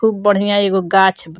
खुब बढ़िया एगो गाँछ ब --